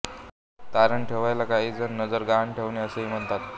तारण ठेवण्याला काही जण नजर गहाण ठेवणे असेही म्हणतात